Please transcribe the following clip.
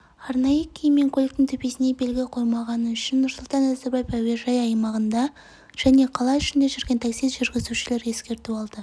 арнайы киім мен көліктің төбесіне белгі қоймағаны үшін нұрсұлтан назарбаев әуежайы аумағында және қала ішінде жүрген такси жүргізушілері ескерту алды